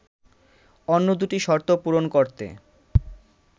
অন্য দুটি শর্ত পূরণ করতে